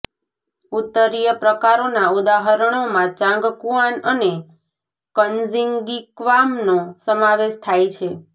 ઉત્તરીય પ્રકારોના ઉદાહરણોમાં ચાંગકુઆન અને ક્ઝીન્ગીક્વામનો સમાવેશ થાય છે